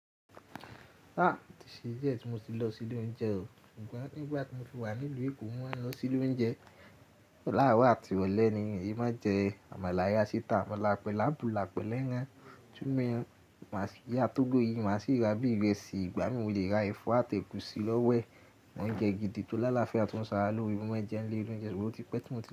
Áà, ó tí ṣe díẹ̀ tí mo ti lọ sí ilé oúnjẹ o, ṣùgbọ́n ní ìgbà tí mo fi wà nílùú Èkó, mo máa ń lọ sí ilé oúnjẹ. Láàrọ̀ àti ìrọ̀lẹ́ ni, èmi máa ń jẹ àmàlà ìyá àsítà, àmàlà pẹ̀ là'bula, pẹ̀lú ẹran, túmì, iyá tógó yìí, má sì ra bí ìrẹsì, ìgbá mí mo lè ra ẹ̀fọ́ àti ẹ̀gúsí lọ́wọ́ ẹ mọ́ ń jẹ gidi tó lálafia, tó ń ṣe ara lóore, mo máa ń jẹ ní ilé oloúnjẹ, ṣùgbọ́n ó ti pẹ́ tí mo ti.